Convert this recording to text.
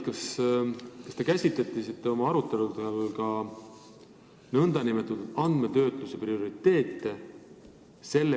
Aga kas te käsitlesite oma aruteludel ka andmetöötluse prioriteete?